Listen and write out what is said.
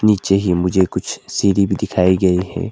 नीचे ही मुझे कुछ सीढ़ी भी दिखाई गई है।